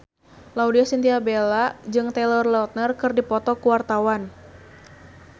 Laudya Chintya Bella jeung Taylor Lautner keur dipoto ku wartawan